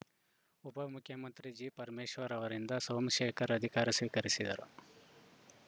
ಉಪ ಮುಖ್ಯಮಂತ್ರಿ ಜಿಪರಮೇಶ್ವರ್‌ ಅವರಿಂದ ಸೋಮಶೇಖರ್‌ ಅಧಿಕಾರ ಸ್ವೀಕರಿಸಿದರು